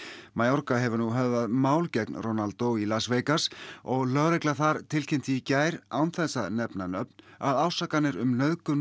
mayorga hefur nú höfðað mál gegn Ronaldo í Las Vegas og lögregla þar tilkynnti í gær án þess að nefna nöfn að ásakanir um nauðgun